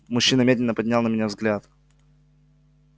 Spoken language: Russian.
мужчина медленно поднял на меня взгляд